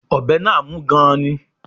Ọ̀bẹ náà mú gan-an ni